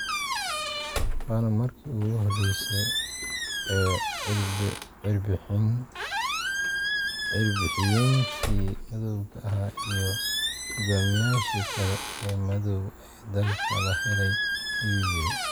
Waana markii ugu horeysay ee cirbixiyeenkii madowga ahaa iyo hogaamiyayaashii kale ee madaw ee dalka la helay," ayuu yidhi.